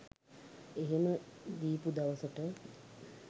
එහෙම දීපු දවසට